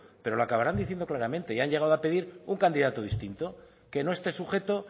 pero lo acabaran diciendo claramente y han llegado a pedir un candidato distinto que no esté sujeto